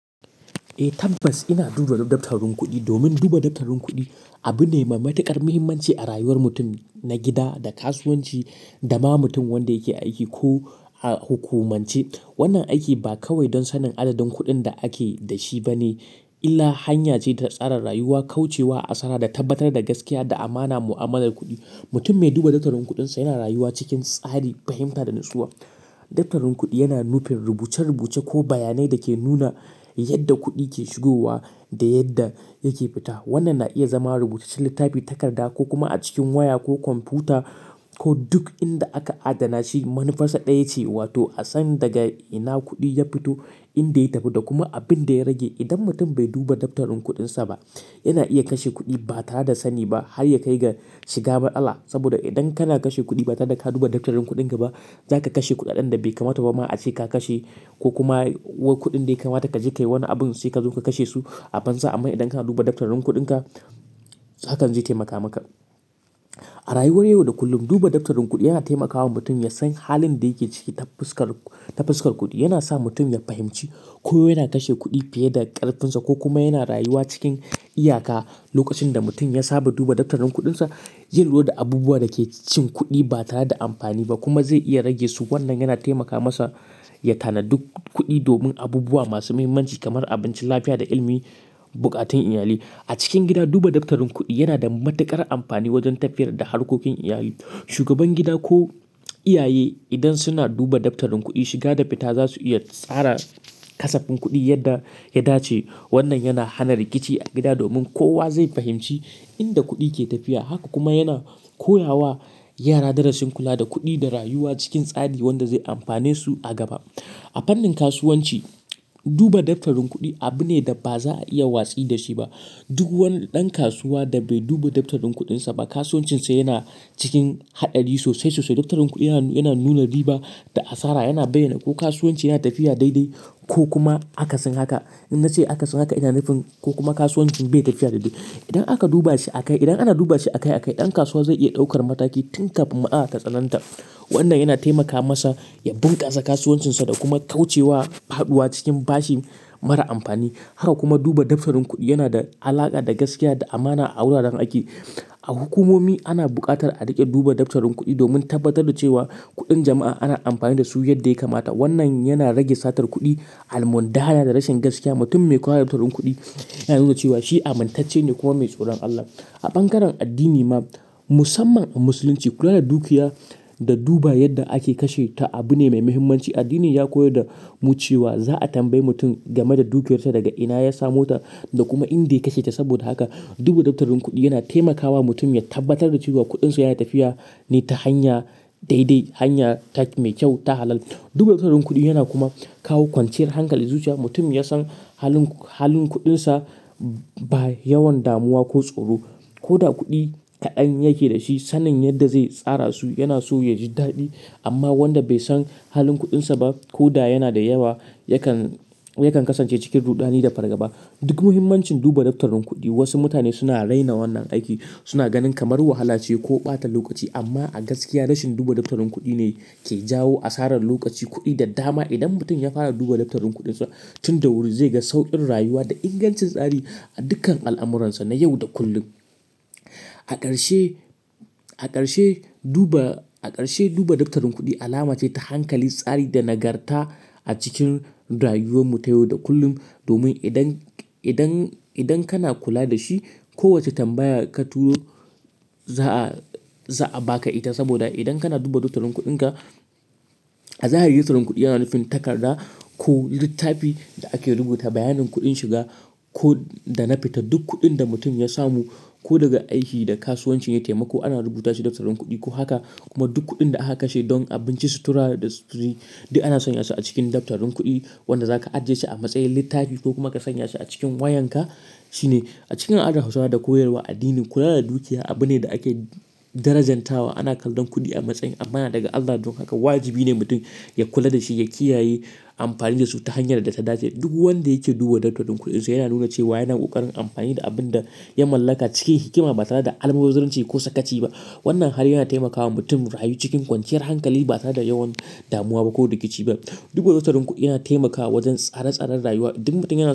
Eh tabbas ina duba daftarin kuɗi. Domin duba daftarin kuɗi abu ne mai matuƙar muhimmanci a rayuwar mutum na gida da kasuwanci da ma mutum wanda yake aiki ko a hukumance. Wannan aiki ba kawai don sanin adadin kuɗin da ake da shi ba ne, illa hanya ce ta tsara rayuwa, kauce wa asara da tabbatar da gaskiya da amana mu'amalar kuɗi. Mutum mai duba daftarin kuɗinsa yana rayuwa cikin tsari, fahimta da natsuwa. Daftarin kuɗi yana nufin rubuce-rubuce ko bayanai da ke nuna yadda kuɗi ke shigowa da yadda yake fita. Wannan na iya zama rubuce cikin littafi, takarda ko kuma a cikin waya ko kwamfuta ko duk inda aka adana shi. Manufarsa ɗaya ce, wato a san daga ina kuɗi ya fito, inda ya tafi da kuma abin da ya rage. Idan mutum bai duba daftarin kuɗinsa ba, yana iya kashe kuɗi ba tare da sani ba har ya kai ga shiga matsala. Saboda idan kana kashe kuɗi ba tare da ka duba daftarin kuɗinka ba, za ka kashe kuɗaɗen da bai kamata ba ma a ce ka kashe ko kuma wa kuɗin da ya kamata ka jekayi wani abun sai ka zo ka kashe su a banza. Amma idan kana duba daftarin kuɗinka, hakan zai taimaka maka. A rayuwar yau da kullum, duba daftarin kuɗi yana taimakawa mutum ya san halin da yake ciki ta fuskar, ta fuskar kuɗi. Yana sa mutum ya fahimci ko yana kashe kuɗi fiye da ƙarfinsa ko kuma yana rayuwa cikin iyaka. Lokacin da mutum ya saba duba daftarin kuɗinsa, zai lura da abubuwa da ke cin kuɗi ba tare da amfani ba kuma zai iya rage su. Wannan yana taimaka masa ya tanadu kuɗi domin abubuwa masu muhimmanci kamar abinci, lafiya da ilimi, buƙatun iyalai. A cikin gida, duba daftarin kuɗi yana da matuƙar amfani wajen tafiyar da harkokin iyali. Shugaban gida ko iyaye idan suna duba daftarin kuɗi, shiga da fita za su iya tsara kasafin kuɗi yadda ya dace. Wannan yana hana rikici a gida domin kowa zai fahimci inda kuɗi ke tafiya. Haka kuma yana koya wa yara darasin kula da kuɗi da rayuwa cikin tsari wanda zai amfane su a gaba. A fannin kasuwanci, duba daftarin kuɗi abu ne da ba za a iya watsi da shi ba. Duk wani ɗan kasuwa da bai duba daftarin kuɗinsa ba, kasuwancinsa yana cikin haɗari sosai sosai. Daftarin kuɗi yana, yana nuna riba da asara, yana bayyana ko kasuwanci yana tafiya daidai ko kuma akasin haka. In na ce akasin haka ina nufin ko kuma kasuwancin bai tafiya daidai. Idan aka duba shi a kai, idan ana duba shi a kai a kai, ɗan kasuwa zai iya ɗaukar mataki tun kafin matsala tatsananta. Wannan yana taimaka masa ya bunƙasa kasuwancinsa da kuma kauce wa faɗuwa cikin bashi mara amfani. Haka kuma duba daftarin kuɗi yana da alaƙa da gaskiya da amana a wuraren aiki. A hukumomi ana buƙatar a riƙe duba daftarin kuɗi domin tabbatar da cewa kuɗin jama'a ana amfani da su yadda ya kamata. Wannan yana rage satar kuɗi, almundahana da rashin gaskiya. Mutum mai kula da daftarin kuɗi yana nuna cewa shi amintacce ne kuma mai tsoron Allah. A ɓangaren addini ma, musamman a Musulunci, kula da dukiya da duba yadda ake kashe ta abu ne mai muhimmanci. Addini ya koyar da mu cewa za a tambayi mutum game da dukiyarsa, daga ina ya samo ta da kuma inda ya kashe ta. Saboda haka, duba daftarin kuɗi yana taimakawa mutum ya tabbatar da cewa kuɗinsa yana tafiya ne ta hanya daidai, hanya ta, mai kyau, ta halal. Duba daftarin kuɗi yana kuma kawo kwanciyar hankali zuciya. Mutum ya san halin, halin kuɗinsa ba yawan damuwa ko tsoro. Ko da kuɗi kaɗan yake da shi, sanin yadda zai tsara su yana so ya ji daɗi. Amma wanda bai san halin kuɗinsa ba, ko da yana da yawa, yakan, yakan kasance cikin rudani da fargaba. Duk muhimmancin duba daftarin kuɗi, wasu mutane suna raina wannan aiki, suna ganin kamar wahala ce ko ɓata lokaci. Amma a gaskiya, rashin duba daftarin kuɗi ne ke jawo asarar lokaci, kuɗi da dama. Idan mutum ya fara duba daftarin kuɗinsa, tun da wuri zai ga sauƙin rayuwa da ingancin tsari a dukkan al'amuransa na yau da kullum. A ƙarshe, a ƙarshe duba, a ƙarshe duba daftarin kuɗi alama ce ta hankali, tsari da nagarta a cikin rayuwar mu ta yau da kullum. Domin idan, idan, idan kana kula da shi, kowace tambaya ka turo za a, za a ba ka ita. Saboda idan kana duba daftarin kuɗinka, zahiri daftarin kuɗi yana nufin takarda ko littafi da ake rubuta bayanin kuɗin shiga ko, da na fita. Duk kuɗin da mutum ya samu ko daga aiki da kasuwanci ya taimako, ana rubuta shi daftarin kuɗi. Ko haka kuma duk kuɗin da aka kashe don abinci, sutura da sutiri, duk ana sanya su a cikin daftarin kuɗi wanda za ka ajiye shi a matsayin littafi ko kuma ka sanya shi a cikin wayanka, shine. A cikin al'adan Hausawa da koyarwar addini, kula da dukiya abu ne da ake darajantawa. Ana kallon kuɗi a matsayin amana daga Allah. Don haka, wajibi ne mutum ya kula da shi, ya kiyaye, amfani da su ta hanyar da ta dace. Duk wanda yake duba daftarin kuɗinsa yana nuna cewa yana ƙoƙarin amfani da abin da ya mallaka cikin hikima ba tare da almubazzaranci ko sakaci ba. Wannan hali yana taimakawa mutum rayu cikin kwanciyar hankali ba tare da yawan damuwa ba ko rikici ba. Duba daftarin kuɗi yana taimakawa wajen tsara-tsaran rayuwa. Duk mutum yana.